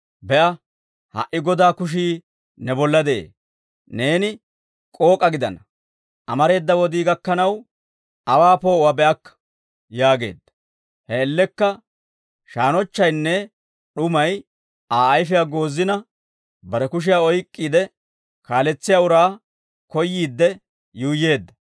Be'a; ha"i Godaa kushii ne bolla de'ee; neeni k'ook'a gidana; amareeda wodii gakkanaw, aawaa poo'uwaa be'akka» yaageedda. He man''iyaan shaannochchaynne d'umay Aa ayfiyaa goozina, bare kushiyaa oyk'k'iide, kaaletsiyaa uraa koyyiidde yuuyyeedda.